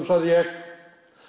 sagði ég